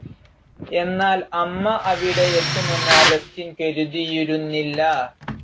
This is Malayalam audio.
എന്നാൽ അമ്മ അവിടെ എത്തുമെന്ന് അഗസ്റ്റിൻ കരുതിയിരുന്നില്ല.